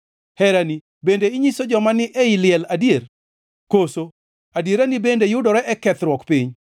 Herani bende inyiso joma ni ei liel; adier, koso adierani bende yudore e kethruok piny?